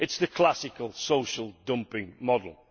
It is the classic social dumping model.